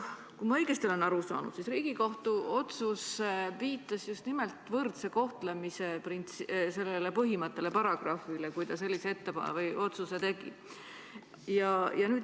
Kui ma õigesti olen aru saanud, siis Riigikohus viitas just nimelt võrdse kohtlemise põhimõttele, sellele paragrahvile, kui ta sellise otsuse tegi.